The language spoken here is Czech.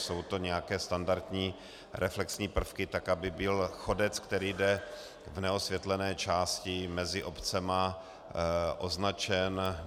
Jsou to nějaké standardní reflexní prvky tak, aby byl chodec, který jde v neosvětlené části mezi obcemi, označen.